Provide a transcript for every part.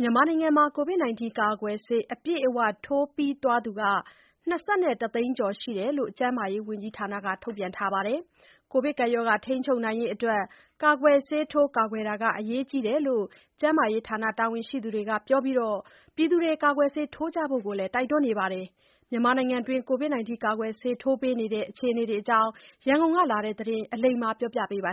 မြန်မာနိုင်ငံမှာ ကိုဗစ်ကာကွယ်ဆေး အပြည့်အဝထိုးပြီးသွားသူ ၂၁ သိန်းကျော်ရှိတယ်လို့ ကျန်းမာရေးဝန်ကြီးဌာနက ထုတ်ပြန်ထားပါတယ်။ ကိုဗစ်ရောဂါ ထိန်းချုပ်ရေးအတွက် ကာကွယ်ဆေးထိုးကာကွယ်တာ အရေးကြီးတယ်လို့ ကျန်းမာရေးဌာနတာဝန်ရှိသူတွေကပြောပြီး ကာကွယ်ဆေးထိုးကြဖို့လည်း တိုက်တွန်းနေပါတယ်။ မြန်မာနိုင်ငံက ကိုဗစ်ကာကွယ်ဆေးထိုးပေးနေတဲ့အခြေအနေအကြောင်း ရန်ကုန်ကလာတဲ့သတင်းကို အလိမ္မာက တင်ပြပါမယ်။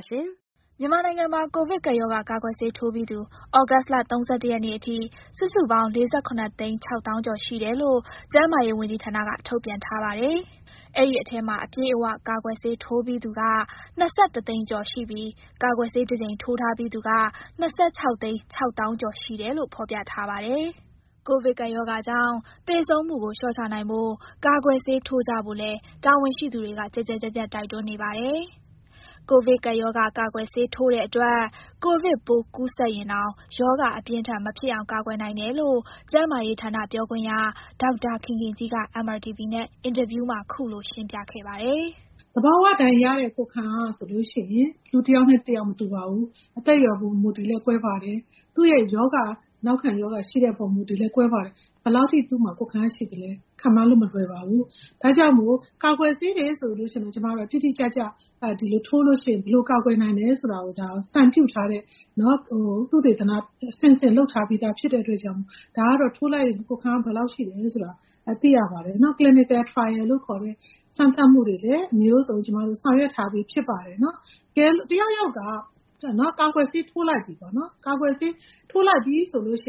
မြန်မာနိုင်ငံမှာ ကိုဗစ်ကပ်ရောဂါ ကာကွယ်ဆေးထိုးပြီးသူ သြဂုတ်လ ၃၁ ရက်နေ့အထိ စုစုပေါင်း ၄၇ သိန်း ၆ သောင်းကျော်ရှိတယ်လို့ ကျန်းမာရေးဝန်ကြီးဌာနက ထုတ်ပြန်ထားပါတယ်။ အဲဒီထဲမှာ အပြည့်အဝ ကာကွယ်ဆေးထိုးပြီးသူက ၂၁ သိန်းကျော်ရှိပြီး ကာကွယ်ဆေး တကြိမ်ထိုးထားပြီးသူက ၂၆ သိန်း ၆ သောင်းကျော်ရှိတယ်လို့ ဖော်ပြထားပါတယ်။ ကိုဗစ်ကပ်ရောဂါကြောင် သေဆုံးမှုကို လေ ျှာ့ချနိုင်ဖို့ ကာကွယ်ဆေးထိုးကြဖို့လည်း တာဝန်ရှိသူတွေက ကျယ်ကျယ်ပြန့်ပြန့် တိုက်တွန်းနေပါတယ်။ ကိုဗစ်ကာကွယ်ဆေးထိုးတဲ့အတွက် ကိုဗစ်ပိုးကူးစက်ရင်တောင် ရောဂါအပြင်းအထန်မဖြစ်အောင် ကာကွယ်နိုင်တယ်လို့ ကျန်းမာရေးဌာန ပြောခွင့်ရ ဒေါက်တာခင်ခင်ကြီးက MRTV နဲ့ အင်တာဗျူးမှာ ခုလိုရှင်းပြခဲ့ပါတယ်။ "သဘာဝအတိုင်းရတဲ့ ကိုယ်ခံအားဟာဆိုရင် လူတယောက်နဲ့တယောက် မတူပါဘူး။ အသက်အရွယ်ပေါ် မူတည်ပြီးတော့လည်း ကွဲပါတယ်။ သူ့ရဲ့ နောက်ခံရောဂါရှိတဲ့ပေါ် မူတည်ပြီးတော့လည်း ကွဲပါတယ်။ ဘယ်လောက်ထိ သူ့မှာကိုယ်ခံအားရှိသလဲ ခန့်မှန်းလို့မလွယ်ပါဘူး။ ဒါကြောင့်မို့ ကာကွယ်ဆေးတွေဆိုရင်တော့ တိတိကျကျထိုးရင် ဘယ်လိုကာကွယ်နိုင်သလဲ ဆိုတာကို သုတေသနအဆင့်ဆင့် လုပ်ထားပြီးသားဖြစ်တဲ့ အတွက်ကြောင့်မို့ ဒါကတော့ထိုးလိုက်ရင် ကိုယ်ခံအားဘယ်လောက်ရှိသလဲဆိုတာ သိရပါတယ်။ Clinical Trial လို့ခေါ်တဲ့ စမ်းသပ်မှုတွေလည်း အမျိုးစုံ ကျမတို့ဆောင်ရွက်ထားပြီး ဖြစ်ပါတယ်။ တကယ်လို့ တယောက်ယောက်က ကာကွယ်ဆေးထိုးလိုက်ပြီဆိုရ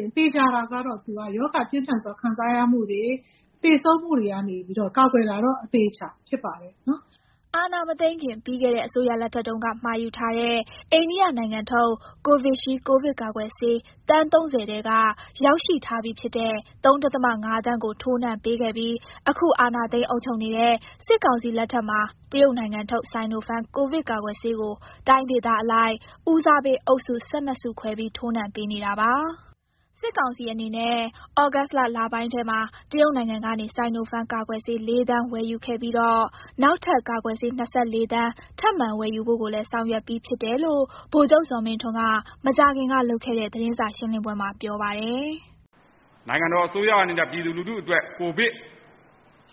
င် သေချာတာကတော့ သူဟာရောဂါပြင်းထန်စွာ ခံစားရမှုတွေ၊ သေဆုံးမှုတွေကနေပြီးတော့ ကာကွယ်တာတော့ အသေအချာဖြစ်ပါတယ်။" အာဏာမသိမ်းခင် ပြီးခဲ့တဲ့အစိုးရလက်ထက်တုန်းက မှာယူထားတဲ့ အိန္ဒိယနိုင်ငံထုတ် Covishield ကိုဗစ်ကာကွယ်ဆေး သန်း ၃၀ ထဲက ရောက်ရှိထားပြီဖြစ်တဲ့ ၃.၅ သန်းကို ထိုးနှံပေးခဲ့ပြီး အခုအာဏာသိမ်း အုပ်ချုပ်နေတဲ့ စစ်ကောင်စီလက်ထက်မှာ တရုတ်နိုင်ငံထုတ် Sinopharm ကိုဗစ်ကာကွယ်ဆေးကို တိုင်းဒေသအလိုက် ဦးစားပေးအုပ်စု ၁၂ စုခွဲပြီး ထိုးနှံပေးနေတာပါ။ စစ်ကောင်စီအနေနဲ့ ဩဂုတ်လပိုင်းထဲမှာ တရုတ်နိုင်ငံကနေ Sinopharm ကာကွယ်ဆေး ၄ သန်းဝယ်ယူခဲ့ပြီးတော့ နောက်ထပ် ကာကွယ်ဆေး ၂၄ သန်း ထပ်မံဝယ်ယူဖို့ကိုလည်း ဆောင်ရွက်ပြီးဖြစ်တယ်လို့ ဗိုလ်ချုပ်ဇော်မင်းထွန်းက မကြာခင်ကလုပ်ခဲ့တဲ့ သတင်းစာရှင်းလင်းပွဲမှာ ပြောပါတယ်။ "နိုင်ငံတော်အစိုးရအနေနဲ့ ပြည်သူလူထုအတွက် ကိုဗစ်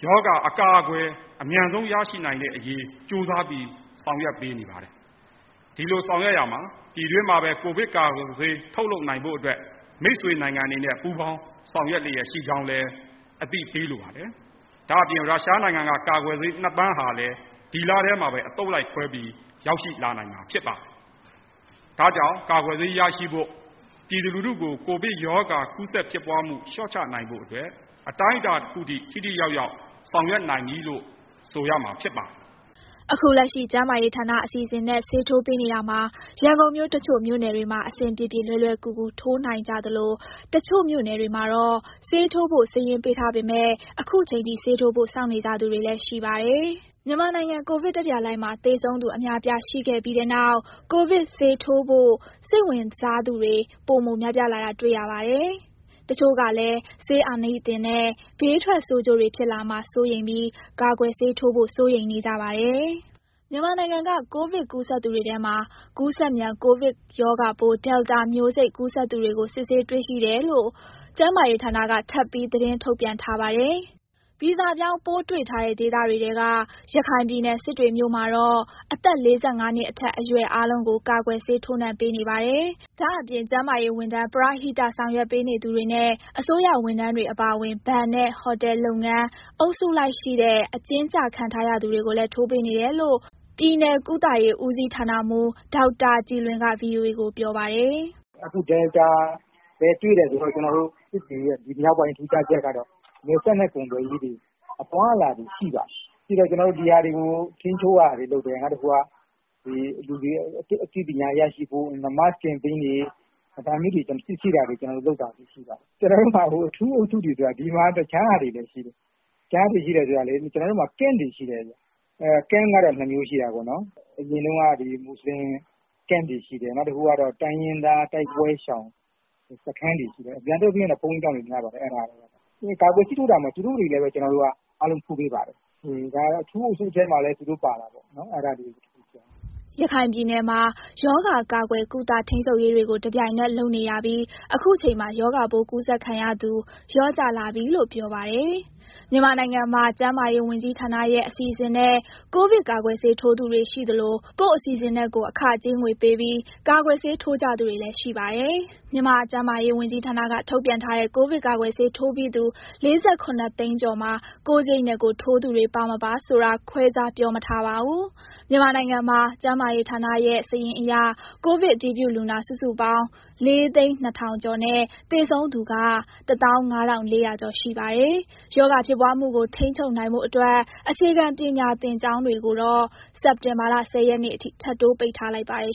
ရောဂါအကာအကွယ် အမြန်ဆုံးရရှိနိုင်တဲ့အရေး ကြိုးစားပြီးဆောင်ရွက်ပေးနေပါတယ်။ ဒီလိုဆောင်ရွက်ရာမှာ ပြည်တွင်းမှာပဲ ကိုဗစ်ကာကွယ်ဆေး ထုတ်လုပ်နိုင်ဖို့အတွက် မိတ်ဆွေနိုင်ငံတွေနဲ့ ပူးပေါင်းဆောင်ရွက်လျက်ရှိကြောင်းလည်း အသိပေးလိုပါတယ်။ ဒါ့အပြင် ရုရှားနိုင်ငံက ကာကွယ်ဆေး ၂ သန်းဟာလည်း ဒီလထဲမှာပဲ အသုတ်လိုက်ခွဲပြီး ရောက်ရှိလာနိုင်မှာဖြစ်ပါတယ်။ ဒါကြောင့် ကာကွယ်ဆေးရရှိဖို့ ပြည်သူလူထုကို ကိုဗစ်ရောဂါကူးစက်ဖြစ်ပွားမှု လျှော့ချနိုင်ဖို့အတွက် အတိုင်းအတာတခုအထိ ထိထိရောက်ရောက် ဆောင်ရွက်နိုင်ပြီလို့ ဆိုရမှာဖြစ်ပါတယ်။" အခုလက်ရှိ ကျန်းမာရေးဌာနအစီအစဉ်နဲ့ ဆေးထိုးပေးနေတာမှာ ရန်ကုန်မြို့ တချို့ မြို့နယ်တွေမှာ အဆင်ပြေပြေ လွယ်လွယ်ကူကူ ထိုးနိုင်ကြသလို တချို့မြို့နယ်တွေမှာတော့ ဆေးထိုးဖို့ စာရင်းပေးထားပေမဲ့ ခုချိန်ထိ ဆေးထိုးဖို့ စောင့်နေကြသူတွေလည်း ရှိပါတယ်။ မြန်မာနိုင်ငံ ကိုဗစ်တတိယလှိုင်းမှာ သေဆုံးသူ အများအပြားရှိခဲ့ပြီးတဲ့နောက် ကိုဗစ်ဆေးထိုးဖို့ စိတ်ဝင်စားသူတွေ ပိုများလာတာတွေ့ရပါတယ်။ တချို့ကလည်း ဆေးအာနိသင်နဲ့ ဘေးထွက်ဆိုးကျိုးတွေ ဖြစ်လာမှာ စိုးရိမ်ပြီး ကာကွယ်ဆေးထိုးဖို့ စိုးရိမ်နေကြပါတယ်။ မြန်မာနိုင်ငံက ကိုဗစ်ကူးစက်သူတွေထဲမှာ ကူးစက်မြန် ကိုဗစ်ရောဂါပိုး Delta မျိုးစိတ် ကူးစက်သူတွေကို စစ်ဆေးတွေ့ရှိတယ်လို့ ကျန်းမာရေးဌာနက ထပ်ပြီးသတင်းထုတ်ပြန်ထားပါတယ်။ ဗီဇပြောင်းပိုးတွေ့ထားတဲ့ ဒေသတွေထဲက ရခိုင်ပြည်နယ်၊ စစ်တွေမြို့မှာတော့ အသက် ၄၅ နှစ်အထက် အရွယ်အားလုံးကို ကာကွယ်ဆေးထိုးနှံပေးနေပါတယ်။ ဒါ့အပြင် ကျန်းမာရေးဝန်ထမ်း၊ ပရဟိတဆောင်ရွက်ပေးနေသူတွေနဲ့ အစိုးရဝန်ထမ်းတွေအပါအဝင် ဘဏ်နဲ့ဟိုတယ်လုပ်ငန်း၊ အုပ်စုလိုက်ရှိတဲ့ အကျဉ်းကျခံထားရသူတွေကိုလည်း ထိုးပေးနေတယ်လို့ ပြည်နယ်ကုသရေး ဦးစီးဌာနမှူး ဒေါက်တာကြည်လွင်က VOA ကိုပြောပါတယ်။ "အခု Delta လည်း တွေ့တယ်ဆိုတော့ ကျနော်တို့စစ်တွေရဲ့ ထူးခြားချက်ကတော့ နယ်စပ်နဲ့ကုန်သွယ်ရေးတွေ၊ အသွားအလာတွေရှိပါတယ်။ ရှိတော့ ကျနော်တို့ ဒီဟာတွေကို ထိန်းချုပ်ရတာရှိတယ်။ နောက်တခုက လူတွေရဲ့အသိပညာရရှိဖို့ ဒါမျိုးတွေလုပ်တာတွေရှိပါတယ်။ ကျနော်တို့မှာ အထူးအုပ်စုတွေဆိုတာ ဒီမှာက တခြားဟာတွေလည်းရှိတယ်။ ကျနော်တို့မှာ Camp တွေရှိတယ်ဗျ။ Camp ကတော့ နှစ်မျိုးရှိတာပေါ့နော်။ အရင်တုန်းက မူဆလင် Camp တွေရှိတယ်။ နောက်တခုကကျတော့ တိုင်းရင်းသားတိုက်ပွဲရှောင်စခန်းတွေ ရှိတယ်။ များသောအားဖြင့်တော့ အဲမှာက ဘုန်းကြီးကျောင်းတွေများပါတယ်။ ကာကွယ်ဆေးထိုးတာမှာ သူတို့တွေကိုလည်းပဲ ကျနော်တို့က အားလုံးထိုးပေးပါတယ်။ အထူးအုပ်စုထဲမှာလည်း သူတို့ပါတာပေါ့နော်။" ရခိုင်ပြည်နယ်မှာ ရောဂါကာကွယ်၊ ကုသ၊ ထိန်းချုပ်ရေးတွေကို တပြိုင်နက်တည်း လုပ်နေရပြီး အခုချိန်မှာ ရောဂါပိုးကူးစက်ခံရသူ လျော့ကျလာပြီလို့ ပြောပါတယ်။ မြန်မာနိုင်ငံမှာ ကျန်းမာရေးဝန်ကြီးဌာနရဲ့ အစီအစဉ်နဲ့ ကိုဗစ်ကာကွယ်ဆေးထိုးသူတွေရှိသလို၊ ကိုယ့်အစီအစဉ်နဲ့ကိုယ် အခကြေးငွေပေးပြီး ကာကွယ်ဆေးထိုးကြသူတွေလည်း ရှိပါတယ်။ ကျန်းမာရေးဝန်ကြီးဌာနက ထုတ်ပြန်ထားတဲ့ ကိုဗစ်ကာကွယ်ဆေးထိုးပြီးသူ ၄၇ သိန်းကျော်မှာ ကိုယ့်စရိတ်နဲ့ကိုယ် ထိုးသူတွေ ပါ မပါဆိုတာ ခွဲခြားပြောမထားပါဘူး။ မြန်မာနိုင်ငံမှာ ကျန်းမာရေးဌာနရဲ့ စာရင်းအရ ကိုဗစ်အတည်ပြုလူနာ စုစုပေါင်း ၄၀၂,၀၀၀ ကျော်နဲ့ သေဆုံးသူက ၁၅,၄၀၀ ကျော် ရှိပါတယ်။ ရောဂါဖြစ်ပွားမှုကို ထိန်းချုပ်နိုင်ဖို့အတွက် အခြေခံပညာသင်ကျောင်းတွေကိုတော့ စက်တင်ဘာလ ၁၀ ရက်နေ့အထိ ထပ်တိုးပိတ်ထားလိုက်ပါတယ်